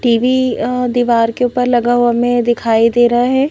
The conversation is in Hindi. टीवी दीवार के ऊपर लगा हुआ हमें दिखाई दे रहा है।